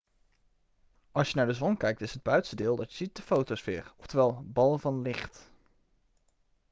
als je naar de zon kijkt is het buitenste deel dat je ziet de fotosfeer oftewel bal van licht'